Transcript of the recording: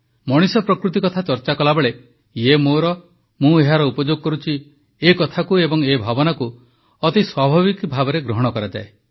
ମଣିଷପ୍ରକୃତି କଥା ଚର୍ଚ୍ଚା କଲାବେଳେ ଇଏ ମୋର ମୁଁ ଏହାର ଉପଯୋଗ କରୁଛି ଏକଥାକୁ ଏବଂ ଏ ଭାବନାକୁ ଅତି ସ୍ୱାଭାବିକ ଭାବେ ଗ୍ରହଣ କରାଯାଏ